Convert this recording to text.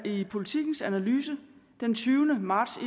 i politikens analyse den tyvende marts